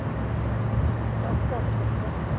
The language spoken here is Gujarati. Proper છે પર